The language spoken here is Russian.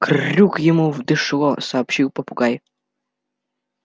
кр-рюк ему в дышло сообщил попугай